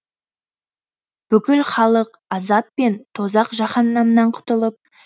бүкіл халық азат пен тозақ жаһаннамнан құтылып